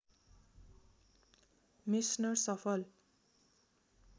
Meissner सफल